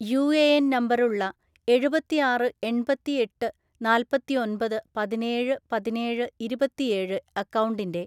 UAN നമ്പറുള്ള എഴുപത്തിയാറ് എൺപത്തി എട്ട് നാല്പത്തി ഒൻപത് പതിനേഴ് പതിനേഴ് ഇരുപത്തിയേഴ് അക്കൗണ്ടിൻ്റെ